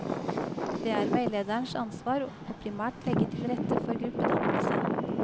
Det er veilederens ansvar å primært legge til rette for gruppedannelse.